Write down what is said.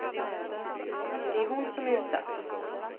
Det är hon som är utsatt.